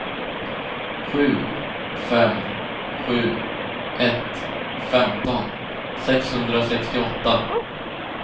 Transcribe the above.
sju fem sju ett femton sexhundrasextioåtta